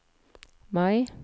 Mai